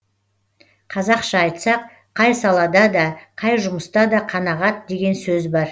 қазақша айтсақ қай салада да қай жұмыста да қанағат деген сөз бар